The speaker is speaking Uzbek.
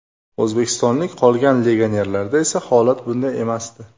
O‘zbekistonlik qolgan legionerlarda esa holat bunday emasdi.